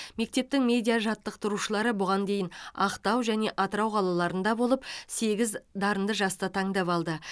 мектептің медиа жаттықтырушылары бұған дейін ақтау және атырау қалаларында болып сегіз дарынды жасты таңдап алды